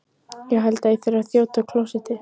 Ég held ég þurfi að þjóta á klósettið.